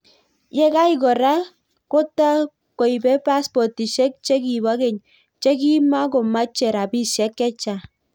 Yekai koraa kotakoibee paspotisiek chekipoo keny chekimokomachee rapisiek chechang